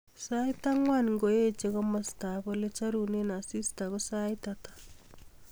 Sait angwan ngoeche komostab olecharunen asista ko sait ata